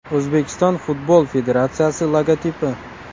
O‘zbekiston Futbol Federatsiyasi logotipi.